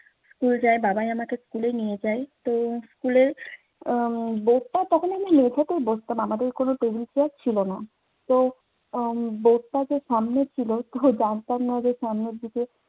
school যাই। বাবাই আমাকে school এ নিয়ে যায়। তো school এ উম আমাদের কোনো table chair ছিল না। তো উম board টা যে সামনে ছিল, তো জানতাম না যে সামনের দিকে